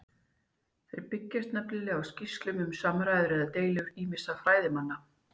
Þeir byggjast nefnilega á skýrslum um samræður eða deilur ýmissa fræðimanna.